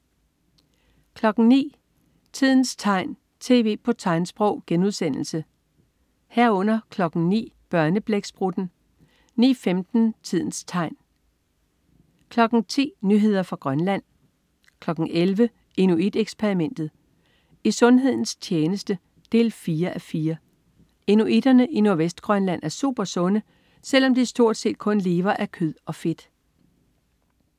09.00 Tidens tegn, tv på tegnsprog* 09.00 Børneblæksprutten* 09.15 Tidens tegn* 10.00 Nyheder fra Grønland 11.00 Inuit Eksperimentet. I sundhedens tjeneste 4:4. Inuitterne i Nordvestgrønland er supersunde, selv om de stort set kun lever af kød og fedt